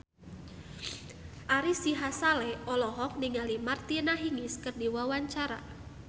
Ari Sihasale olohok ningali Martina Hingis keur diwawancara